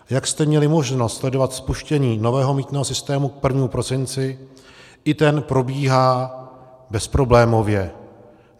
Jak jste měli možnost sledovat spuštění nového mýtného systému k 1. prosinci, i ten probíhá bezproblémově.